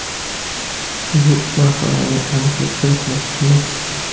Bu masalaga aniqlik kiritmoqchimiz.